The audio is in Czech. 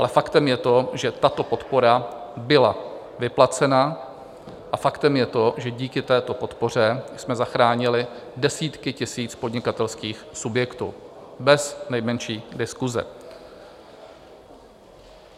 Ale faktem je to, že tato podpora byla vyplacena a faktem je to, že díky této podpoře jsme zachránili desítky tisíc podnikatelských subjektů, bez nejmenší diskuse.